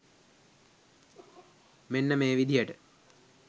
මෙන්න මේ විදිහට.